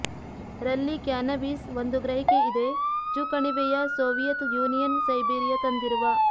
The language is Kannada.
ರಲ್ಲಿ ಕ್ಯಾನ್ನಬೀಸ್ ಒಂದು ಗ್ರಹಿಕೆ ಇದೆ ಚು ಕಣಿವೆಯ ಸೋವಿಯತ್ ಯೂನಿಯನ್ ಸೈಬೀರಿಯಾ ತಂದಿರುವ